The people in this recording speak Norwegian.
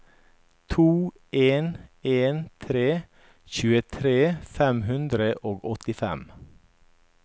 to en en tre tjuetre fem hundre og åttifem